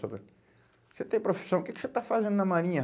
Você tem profissão, o que que você está fazendo na marinha?